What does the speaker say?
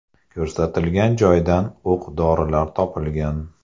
Ko‘rsatilgan joydan o‘q-dorilar topilgan.